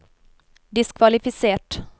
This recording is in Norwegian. diskvalifisert